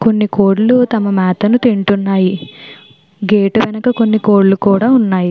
కొన్ని కోళ్లు తమ మేత ను తింటున్నాయి గేటు వెనక కొన్ని కోళ్లు కూడా ఉన్నాయి.